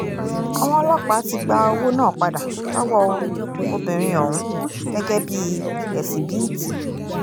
àwọn ọlọ́pàá ti gba owó náà padà lọ́wọ́ obìnrin ọ̀hún gẹ́gẹ́ bíi ẹ̀síbìítì